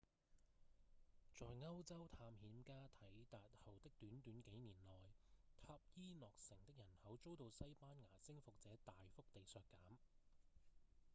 在歐洲探險家抵達後的短短幾年內塔伊諾城的人口遭到西班牙征服者大幅地削減